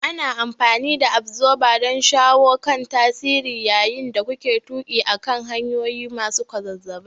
Ana amfani da Absorber don shawo kan tasirin yayin da kuke tuƙi akan hanyoyi masu kwazazzabai.